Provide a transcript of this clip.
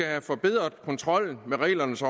have forbedret kontrollen med reglernes